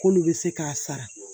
K'olu bɛ se k'a sara